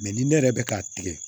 Mɛ ni ne yɛrɛ bɛ k'a tigɛ